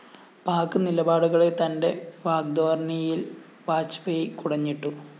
പാക് നിലപാടുകളെ തന്റെ വാഗ്‌ധോരണിയില്‍ വാജ്‌പേയി കുടഞ്ഞിട്ടു